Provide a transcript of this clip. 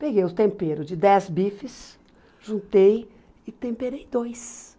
Peguei o tempero de dez bifes, juntei e temperei dois.